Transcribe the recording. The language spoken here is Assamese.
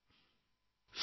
প্ৰথম ফোন